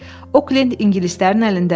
Oklend ingilislərin əlindədir.